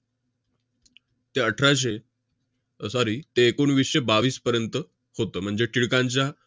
ते अठराशे sorry ते एकोणवीसशे बावीसपर्यंत होतं. म्हणजे टिळकांच्या